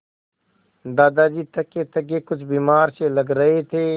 दादाजी थकेथके कुछ बीमार से लग रहे थे